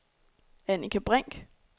Annika Brink